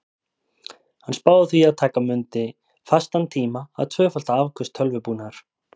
Hann spáði því að taka mundi fastan tíma að tvöfalda afköst tölvubúnaðar.